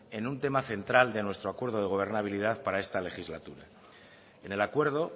en un tema central de nuestro acuerdo de gobernabilidad para esta legislatura en el acuerdo